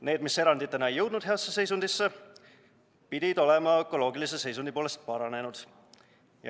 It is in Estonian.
Nende puhul, kus eranditena ei jõutud saavutada head seisundit, pidi olema saavutatud ökoloogilise seisundi paranemine.